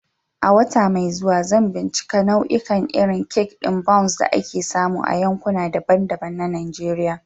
A wata mai zuwa, zan bincika nau'ikan irin kek ɗin Bounce da ake samu a yankuna daban-daban na Najeriya.